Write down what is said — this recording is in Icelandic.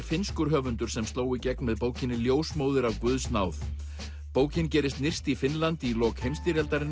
finnskur höfundur sem sló í gegn með bókinni ljósmóðir af guðs náð bókin gerist nyrst í Finnlandi í lok heimsstyrjaldarinnar